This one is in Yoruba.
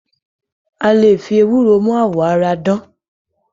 A le fi ewúro mú àwọ̀ ara dán.